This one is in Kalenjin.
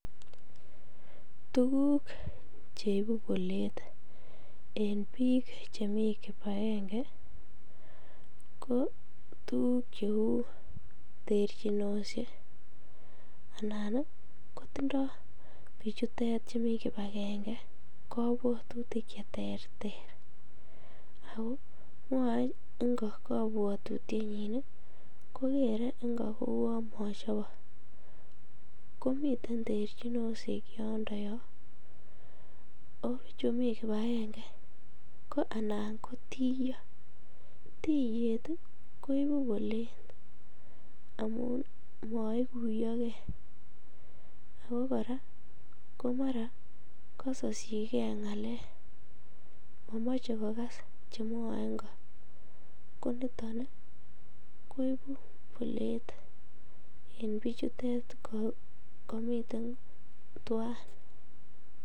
Tukuk cheibu bolet en biik chemii kibakenge ko tukuk cheuu terchinoshek anan kotindo bichutet chumii kibakenge kobwotutik cheterter ak ko mwoee ingo kobwotutienyin kokere ingo kouu mochobok, komiten terchinoshek yondo yoon oo bichu mii kibakenge ko anan ko tiyoo, tiyeet koibu boleet amun moikuyoke ak ko kora komara kosoyike ngalek, momoche kokas chemwoe ing'o, koniton koibu bolet en bichutet komiten twaan.